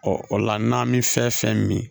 o la n'an mi fɛn fɛn min